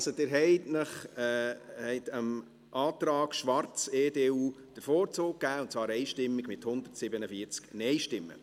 Also: Sie haben dem Antrag Schwarz/EDU den Vorzug gegeben, und zwar einstimmig mit 147 Nein-Stimmen.